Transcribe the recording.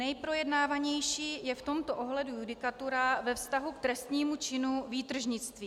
Nejprojednávanější je v tomto ohledu judikatura ve vztahu k trestnému činu výtržnictví.